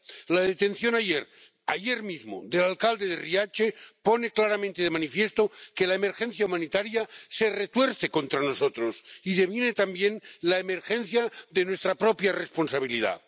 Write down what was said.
La detención ayer mismo del alcalde de Riace pone claramente de manifiesto que la emergencia humanitaria se retuerce contra nosotros y deviene también la emergencia de nuestra propia responsabilidad.